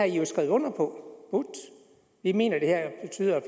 jo skrevet under på vi mener at det